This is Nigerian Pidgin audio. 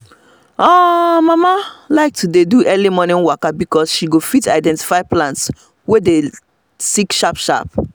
um mama um like to dey do early waka pass because she go fit identify plants wey dey sick sharp sharp